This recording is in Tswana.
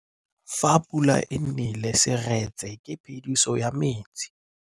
Fa pula e nelê serêtsê ke phêdisô ya metsi.